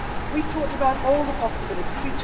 We talked about all the possibilities.